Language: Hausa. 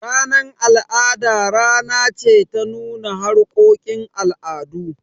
Ranar al'ada rana ce ta nuna harkokin al'adu.